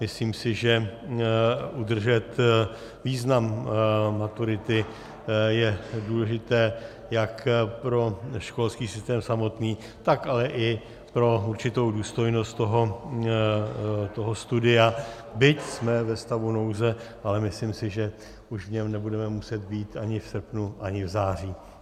Myslím si, že udržet význam maturity je důležité jak pro školský systém samotný, tak ale i pro určitou důstojnost toho studia, byť jsme ve stavu nouze, ale myslím si, že už v něm nebudeme muset být ani v srpnu ani v září.